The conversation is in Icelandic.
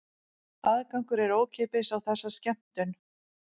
Aðgangur er ókeypis á þessa skemmtun